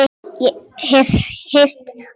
Hef heyrt orð þín áður.